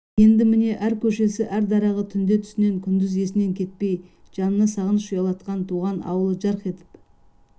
енді міне әр көшесі әр дарағы түнде түсінен күндіз есінен кетпей жанына сағыныш ұялатқан туған ауылы жарқ етіп